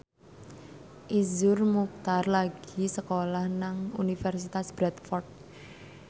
Iszur Muchtar lagi sekolah nang Universitas Bradford